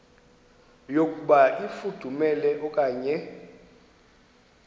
yokuba ifudumele okanye